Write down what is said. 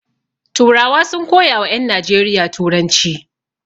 Turawa sun koya wa ƴan Najeriya turanci.